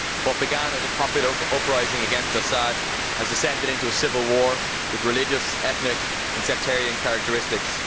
What began as a popular uprising against Assad has descended into a civil war with religious, ethnic and sectarian characteristics.